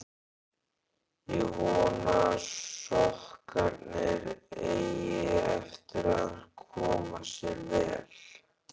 Ég vona að sokkarnir eigi eftir að koma sér vel.